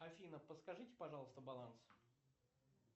афина подскажите пожалуйста баланс